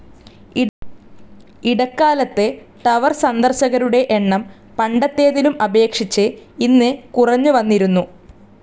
ഇടക്കാലത്ത് ടവർ സന്ദർശകരുടെ എണ്ണം പണ്ടത്തേതിലും അപേക്ഷിച്ച് ഇന്ന് കുറഞ്ഞുവന്നിരുന്നു.